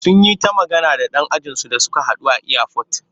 Sun yi ta magana da ɗan ajinsu da suka haɗu a iyafot.